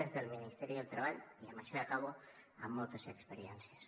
des del ministeri del treball i amb això ja acabo amb moltes experiències